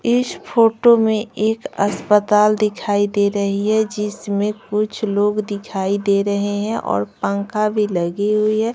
इस फोटो में एक अस्पताल दिखाई दे रही है जिसमें कुछ लोग दिखाई दे रहे हैं और पंखा भी लगी हुई है।